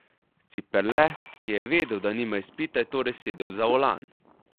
Ciperle, ki je vedel, da nima izpita, je torej sedel za volan.